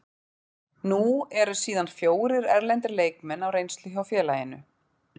Nú eru síðan fjórir erlendir leikmenn á reynslu hjá félaginu.